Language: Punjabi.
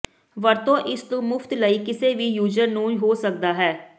ਵਰਤੋ ਇਸ ਨੂੰ ਮੁਫ਼ਤ ਲਈ ਕਿਸੇ ਵੀ ਯੂਜ਼ਰ ਨੂੰ ਹੋ ਸਕਦਾ ਹੈ